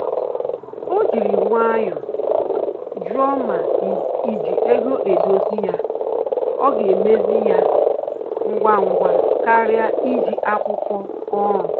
O jiri nwayọ jụọ ma iji ego dozie ya ọ ga emezi ya ngwa ngwa karịa iji akwụkwọ ọrụ